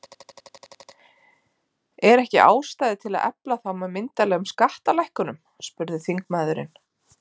Er ekki ástæða til að efla þá með myndarlegum skattalækkunum? spurði þingmaðurinn.